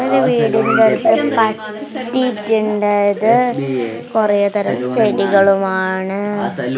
ഒരു വീടിൻ്റ്ടുത്ത് കൊറേ തരം ചെടികളുമാണ്.